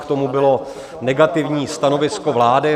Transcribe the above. K tomu bylo negativní stanovisko vlády.